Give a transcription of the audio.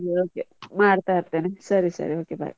Okay ಮಾಡ್ತಾ ಇರ್ತೆನೆ, ಸರಿ ಸರಿ okay bye .